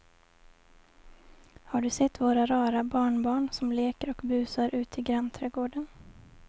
Har du sett våra rara barnbarn som leker och busar ute i grannträdgården!